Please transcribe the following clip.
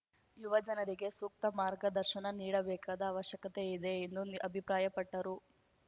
ಯುವ ಜನರಿಗೆ ಸೂಕ್ತ ಮಾರ್ಗದರ್ಶನ ನೀಡಬೇಕಾದ ಅವಶ್ಯಕತೆ ಇದೆ ಎಂದು ಅಭಿಪ್ರಾಯಪಟ್ಟರು